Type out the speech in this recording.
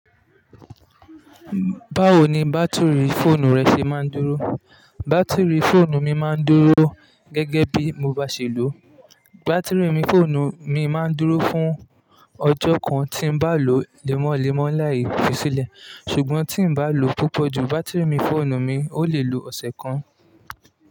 Báwo ni bátìrì fóònù rẹ ṣe máa ń dúró? Bátìrì fóònù mi máa ń dúró gẹ́gẹ́ bí mo bá ṣe lò ó. Bátìrì fóònù mi máa ń dúró fún ọjọ́ kan tí n bá lò lémọ́lémọ́ láì fi sílẹ̀, ṣùgbọ́n tí n bá lò púpọ̀ jù, bátìrì fóònù mi ó lè lo ọ̀sẹ̀ kan.